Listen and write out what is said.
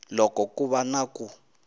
loko ku va na ku